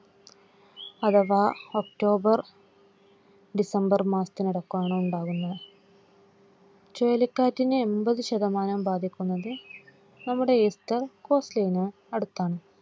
അഥവാ October December മാസത്തിനിടയ്കാണ് ഉണ്ടാവുന്നത്. ചുഴലിക്കാറ്റിനെ എൺപത് ശതമാനം ബാധിക്കുന്നത് നമ്മുടെ east costal ലിലെ അടുത്താണ്